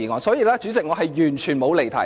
所以，主席，我完全沒有離題。